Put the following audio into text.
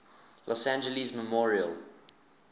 los angeles memorial